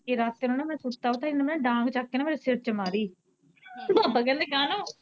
ਕਿ ਰਾਤੀ ਨੂੰ ਨਾ ਮੈਂ ਸੁੱਤਾ ਉੱਠਾ ਇੰਨੇ ਨਾ ਮੇਰੇ ਡਾਂਗ ਚੱਕ ਕੇ ਨਾ ਮੇਰੇ ਸਿਰ ਚ ਮਾਰੀ, ਪਾਪਾ ਕਹਿੰਦਾ ਕਾਨੂੰ।